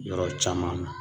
Yɔrɔ caman na